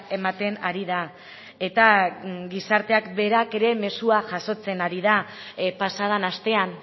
ematen ari da eta gizarteak berak ere mezua jasotzen ari den pasa den astean